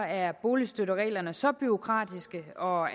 er boligstøttereglerne så bureaukratiske og